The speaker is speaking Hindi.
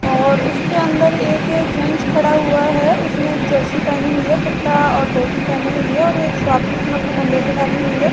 और उसके अंदर एक जेंस खड़ा हुआ है। उसने एक जर्सी पहनी हुई है कुर्ता और धोती पहनी हुई है और एक स्वॅपिंग अपने कंधे पर डाली हुई है।